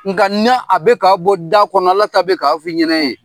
Nga n'a a bɛ k'a bɔ da kɔnɔ, Ala ta bɛ k'a f'i ɲɛnɛ ye.